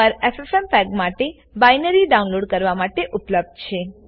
પર એફએફએમપેગ માટે binary download કરવા માટે ઉપલભ્ધ છે